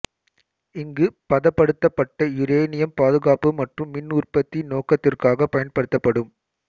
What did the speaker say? இங்கு பதப்படுத்தப்பட்ட யுரேனியம் பாதுகாப்பு மற்றும் மின் உற்பத்தி நோக்கத்திற்காக பயன்படுத்தப்படும்